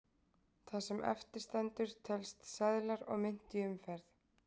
Það sem eftir stendur telst seðlar og mynt í umferð.